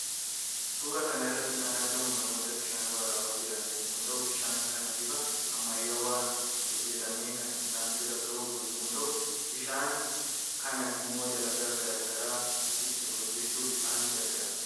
Suuraa kanarratti kan argamu namoota bishaan waraaba jiran yommuu ta'uu bishaan kana bifa ammayyawan hojjetame kan isaan bira gahu yommuu ta'u bishaan kana immo dalaga garaa gara itti hojjetachuuf isaan gargaara